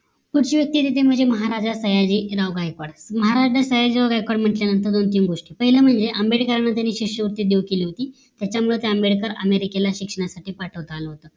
पुढची व्यक्ती येते ते म्हणजे महाराजा सयाजीराव गायकवाड महाराज सयाजीराव गायकवाड म्हंटल्या नंतर दोन तीन गोष्टी पहिल्या म्हणजे आंबेडकर यांना त्यांनी शिष्य वृत्ती देऊ केली होती त्याच्या मुळे ते आंबेडकर अमेरिकेला शिक्षणासाठी पाठवता आला होत